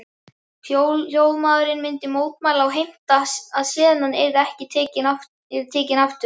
Hljóðmaðurinn myndi mótmæla og heimta að senan yrði tekin aftur.